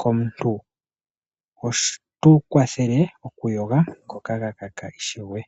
komuntu opo tu kwathele oku yoga ngoka ga kaka ishewe.